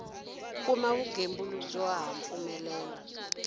kuma vugembuli byo ha mpfumelelo